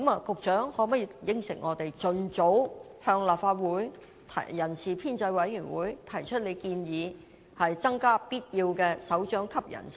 局長可否答應我們，盡早向立法會人事編制小組委員會提出建議，增加必要的首長級人手？